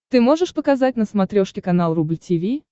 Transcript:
ты можешь показать на смотрешке канал рубль ти ви